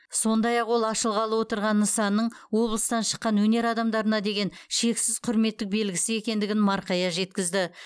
сондай ақ ол ашылғалы отырған нысанның облыстан шыққан өнер адамдарына деген шексіз құрметтік белгісі екендігін марқая жеткізді